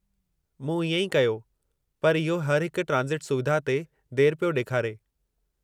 मूं इएं ई कयो, पर इहो हर हिक ट्रांज़िट सुविधा ते देरि पियो ॾेखारे।